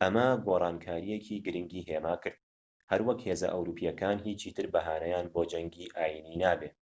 ئەمە گۆڕانکاریەکی گرنگی هێماکرد هەروەک هێزە ئەوروپیەکان هیچی تر بەهانەیان بۆ جەنگی ئاینیی نابێت